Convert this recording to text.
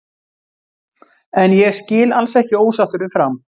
En ég skil alls ekki ósáttur við Fram.